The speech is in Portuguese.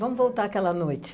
Vamos voltar àquela noite.